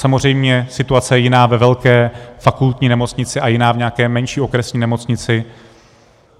Samozřejmě je situace jiná ve velké fakultní nemocnici a jiná v nějaké menší okresní nemocnici.